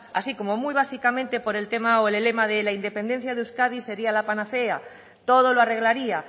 así como muy básicamente por el tema o el lema de la independencia de euskadi sería la panacea todo lo arreglaría